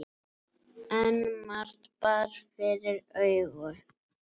En margt bar fyrir augu.